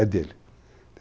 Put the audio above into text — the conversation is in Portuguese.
É dele.